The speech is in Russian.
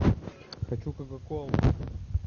хочу кока колу